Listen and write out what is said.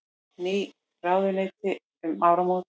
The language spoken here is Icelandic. Ný ráðuneyti um áramót